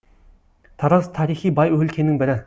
тараз тарихи бай өлкенің бірі